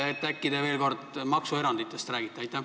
Äkki te räägite veel kord maksueranditest?